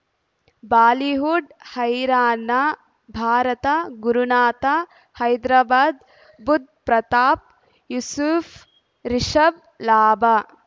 Bollywood ಹೈರಾಣ ಭಾರತ ಗುರುನಾಥ ಹೈದರಾಬಾದ್ ಬುಧ್ ಪ್ರತಾಪ್ ಯೂಸುಫ್ ರಿಷಬ್ ಲಾಭ